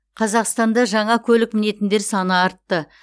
қазақстанда жаңа көлік мінетіндер саны артты